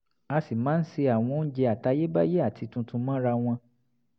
a sì máa ń se àwọn oúnjẹ àtayébáyé àti tuntun mọ́ra wọn